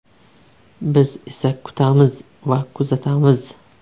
Biz esa kutamiz va kuzatamiz.